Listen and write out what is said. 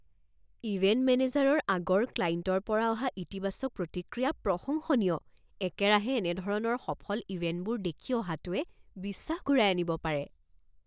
Event মেনেজাৰৰ আগৰ ক্লাইণ্টৰ পৰা অহা ইতিবাচক প্ৰতিক্ৰিয়া প্ৰশংসনীয়। একেৰাহে এনে ধৰণৰ সফল ইভেণ্টবোৰ দেখি অহাটোৱে বিশ্বাস ঘূৰাই আনিব পাৰে।